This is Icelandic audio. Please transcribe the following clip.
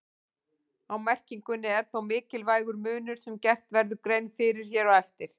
Á merkingunni er þó mikilvægur munur sem gert verður grein fyrir hér á eftir.